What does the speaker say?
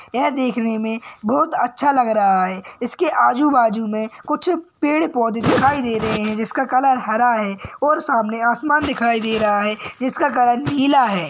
यह देखने में बहुत अच्छा लग रहा है। इसके आजू बाजु में कुछ पेड़ पौधे दिखाई दे रहे हैं। जिसका कलर हरा है और सामने आसमान दिखाई दे रहा है। जिसका कलर नीला है।